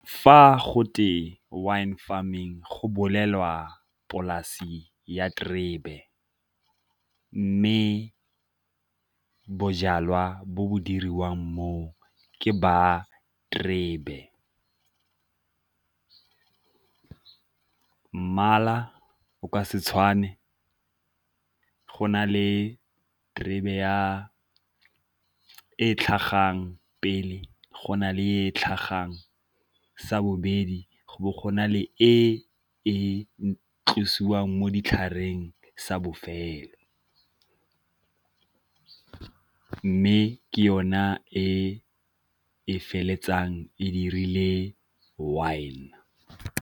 Fa go twe wine farming go bolelwa polasi ya terebe, mme bojalwa bo bo diriwang moo ke ba terebe. Mmala o ka se tshwane go na le diterebe e tlhagang pele go na le e tlhagang sa bobedi go bo go na le e e tlosiwang mo ditlhareng sa bofelo, mme ke yona e e feleletsang e dirile wine.